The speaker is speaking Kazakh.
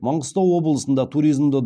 маңғыстау облысында туризмді